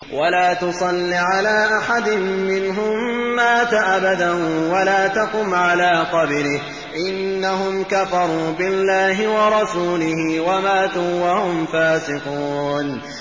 وَلَا تُصَلِّ عَلَىٰ أَحَدٍ مِّنْهُم مَّاتَ أَبَدًا وَلَا تَقُمْ عَلَىٰ قَبْرِهِ ۖ إِنَّهُمْ كَفَرُوا بِاللَّهِ وَرَسُولِهِ وَمَاتُوا وَهُمْ فَاسِقُونَ